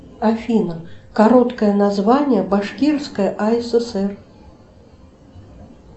афина короткое название башкирская асср